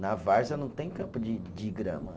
Na Várzea não tem campo de de grama.